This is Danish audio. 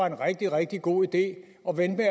en rigtig rigtig god idé at vente